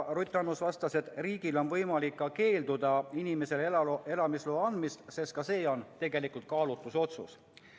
Ruth Annus vastas, et riigil on võimalik keelduda inimesele elamisloa andmisest, sest ka see on tegelikult kaalutlusotsus.